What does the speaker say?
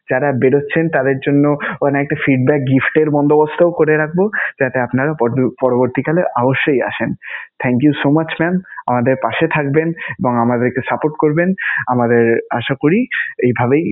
যারা বেরুচ্ছেন তাঁদের জন্য ওখানে একটা feedback gift এর বন্দোবস্তও করে রাখবো, যাতে আপনারাও পর্জ~ পরবর্তীকালে অবশ্যই আসেন. Thank you so much mam আমাদের পাশে থাকবেন এবং আমাদের একটু support করবেন. আমাদের আশা করি এইভাবেই